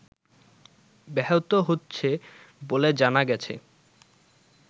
ব্যাহত হচ্ছে বলে জানা গেছে